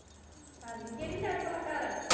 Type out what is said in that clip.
ਹਾਂਜੀ ਕਿਹੜੀ side ਭਲਾ ਘਰ ਆ?